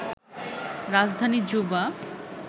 রাজধানী জুবা